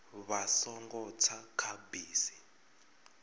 vha songo tsa kha bisi